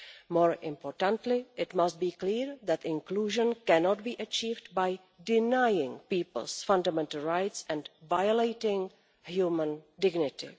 More importantly, it must be clear that inclusion cannot be achieved by denying people's fundamental rights and violating human dignity.